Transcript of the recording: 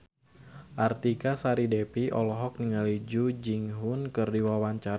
Artika Sari Devi olohok ningali Jung Ji Hoon keur diwawancara